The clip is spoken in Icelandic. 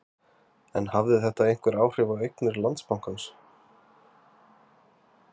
En hafði þetta einhver áhrif á eignir Landsbankans?